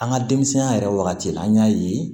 An ka denmisɛnya yɛrɛ wagati la an y'a ye